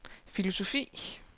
filosofi